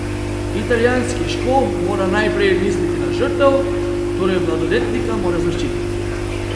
Italijanski škof mora najprej misliti na žrtev, torej mladoletnika mora zaščititi.